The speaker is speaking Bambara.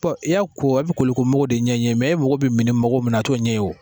Bɔn i y'a ko e be koliko magɔ de ɲɛ e ye mɛ e magɔ be mini magɔ min na a t'o ɲɛ e ye o